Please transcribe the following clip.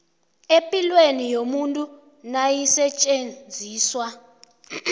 epilweni yomuntu nayisetjenziswa